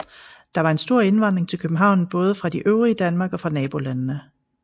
Der var en stor indvandring til København både fra det øvrige Danmark og fra nabolandene